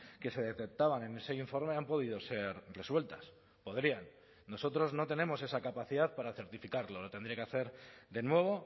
que se detectaban en ese informe han podido ser resueltas podrían nosotros no tenemos esa capacidad para certificarlo lo tendría que hacer de nuevo